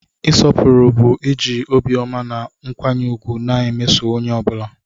Ịsọpụrụ bụ iji obiọma na nkwanye ùgwù na-emeso onye ọ bụla.